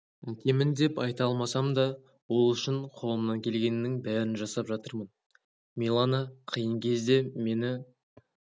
әкемін деп айта алмасам да ол үшін қолымнан келгеннің бәрін жасап жатырмын миланақиын кезде мені